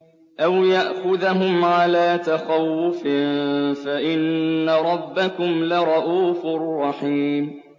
أَوْ يَأْخُذَهُمْ عَلَىٰ تَخَوُّفٍ فَإِنَّ رَبَّكُمْ لَرَءُوفٌ رَّحِيمٌ